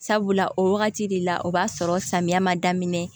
Sabula o wagati de la o b'a sɔrɔ samiya ma daminɛ